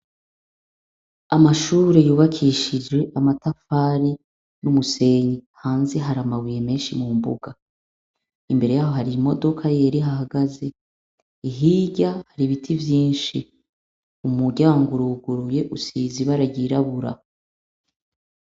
Amashure yubakishijwe amatafati n'umusenyi hanze hari amabuye menshi mumbuga, imbere yaho har'imodoka yera ihahagaze hirya har'ibiti vyinshi umuryango uruguruye usize ibara ry'irabura